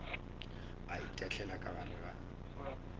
a itahlela ka gare ga